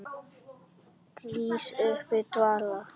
Rís upp af dvala.